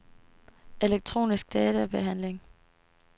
elektronisk databehandling